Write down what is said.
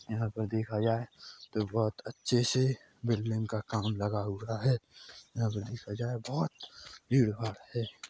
यहाँ पर देखा जाए तो बहुत अच्छे से बिल्डिंग काम लगा हुवा है यहाँ पे देखा जाए बहुत भीड़ भाड़ है।